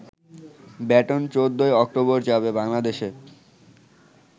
baton ১৪ই October যাবে বাংলাদেশে